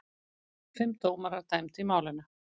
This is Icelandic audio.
Fimm dómarar dæmdu í málinu.